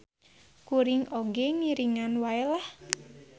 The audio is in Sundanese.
Kuring oge ngiringan wae lah.